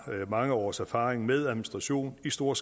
mange års erfaring med administration i stor